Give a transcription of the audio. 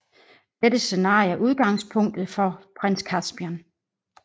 Dette scenarie er udgangspunktet for Prins Caspian